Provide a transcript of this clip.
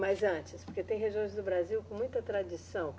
Mas antes, porque tem regiões do Brasil com muita tradição.